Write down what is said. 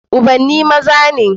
Ubanni maza ne